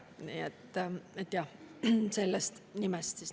Nii et nii palju sellest nimest.